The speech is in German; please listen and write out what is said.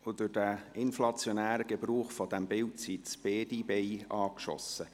Wegen des inflationären Gebrauchs dieses Bildes, sind nun beide Beine angeschossen.